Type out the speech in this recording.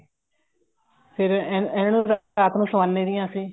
ਫ਼ੇਰ ਇਹਨਾ ਨੂੰ ਰਾਤ ਨੂੰ ਸਵਾਉਂਦੇ ਵੀ ਹਾਂ ਅਸੀਂ